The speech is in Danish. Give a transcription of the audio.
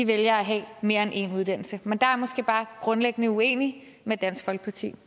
vælger at have mere end en uddannelse men der er jeg måske bare grundlæggende uenig med dansk folkeparti